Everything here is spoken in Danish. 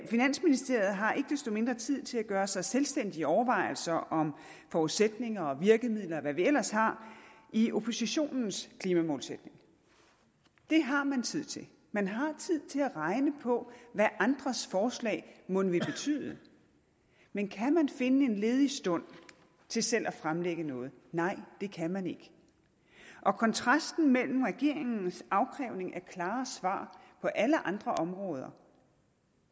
finansministeriet har ikke desto mindre tid til at gøre sig selvstændige overvejelser om forudsætninger og virkemidler og hvad vi ellers har i oppositionens klimamålsætning det har man tid til man har tid til at regne på hvad andres forslag mon vil betyde men kan man finde en ledig stund til selv at fremlægge noget nej det kan man ikke og kontrasten mellem regeringens afkrævning af klare svar på alle andre områder